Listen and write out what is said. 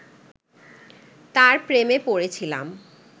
তার প্রেমে পড়েছিলাম